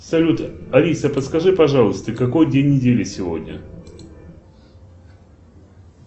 салют алиса подскажи пожалуйста какой день недели сегодня